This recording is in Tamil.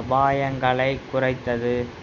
அபாயங்களைக் குறைத்தது